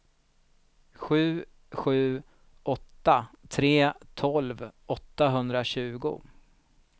sju sju åtta tre tolv åttahundratjugo